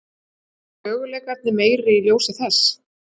Eru möguleikarnir meiri í ljósi þess?